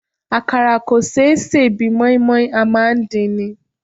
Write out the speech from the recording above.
Àkàrà kò ṣé sè bí i mọ́í-mọ́í, a máa ń dín ni.